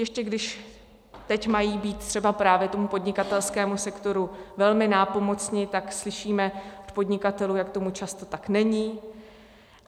Ještě když teď mají být třeba právě tomu podnikatelskému sektoru velmi nápomocni, tak slyšíme od podnikatelů, jak tomu často tak není.